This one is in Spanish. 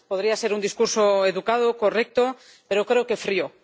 Podría ser un discurso educado, correcto, pero creo que frío.